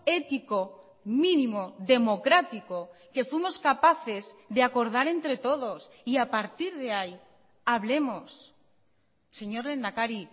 ético mínimo democrático que fuimos capaces de acordar entre todos y a partir de ahí hablemos señor lehendakari